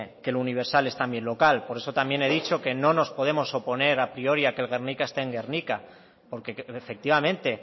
que el universal es también local por eso también he dicho que no nos podemos oponer a priori a que el guernica esté en gernika porque efectivamente